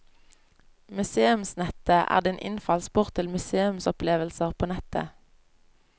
Museumsnettet er din innfallsport til museumsopplevelser på nettet.